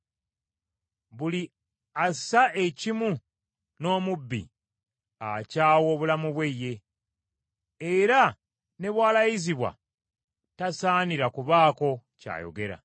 Buli assa ekimu n’omubbi akyawa obulamu bwe ye, era ne bw’alayizibwa tasaanira kubaako ky’ayogera.